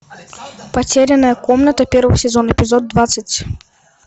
потерянная комната первый сезон эпизод двадцать